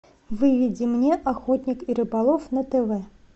выведи мне охотник и рыболов на тв